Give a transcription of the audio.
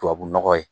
Tubabu nɔgɔ ye